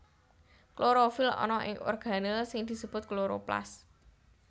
Klorofil ana ing organel sing disebut kloroplas